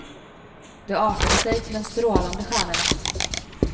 Det artade sig till en strålande stjärnenatt.